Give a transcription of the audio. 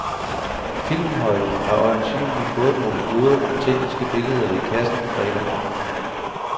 Filmholdet har øjensynligt fået nogle gode, autentiske billeder i kassen fredag morgen.